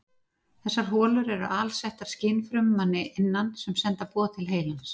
Þessar holur eru alsettar skynfrumum að innan sem senda boð til heilans.